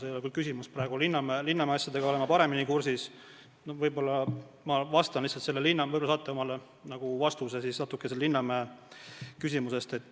Selle kohta küsimus küll ei olnud, aga Linnamäe asjadega olen ma paremini kursis ja võib-olla te saate vastuse Linnamäe juhtumi põhjal.